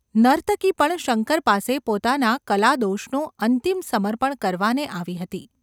નર્તકી પણ શંકર પાસે પોતાના કલાદોષનું અંતિમ સમર્પણ કરવાને આવી હતી.